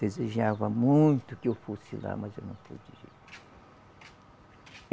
Desejava muito que eu fosse lá, mas eu não pude ir